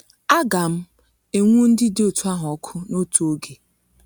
Aga m enwu ndị dị otú ahụ ọkụ n’otu oge.